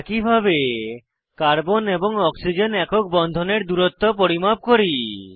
একইভাবে কার্বন এবং অক্সিজেন একক বন্ধনের দূরত্ব পরিমাপ করি